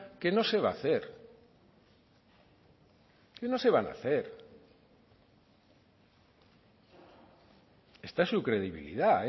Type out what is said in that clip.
que no se va hacer que no se van hacer esta es su credibilidad